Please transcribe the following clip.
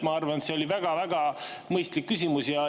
Ma arvan, et see oli väga-väga mõistlik küsimus.